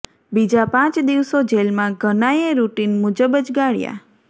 બીજા પાંચ દિવસો જેલમાં ઘનાએ રૂટીન મુજબ જ ગાળ્યા